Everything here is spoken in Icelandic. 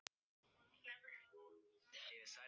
Einar, spilaðu tónlist.